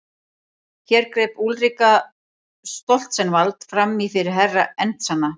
Hér greip Úlrika Stoltzenwald framí fyrir Herra Enzana.